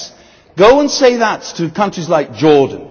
Yes, go and say that to countries like Jordan.